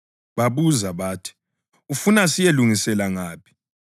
Babuza bathi, “Ufuna siyelilungisela ngaphi?”